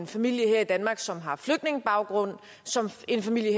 familie her i danmark som har flygtningebaggrund som for en familie